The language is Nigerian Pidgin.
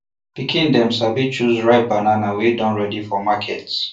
pikin dem sabi choose ripe banana wey don ready for market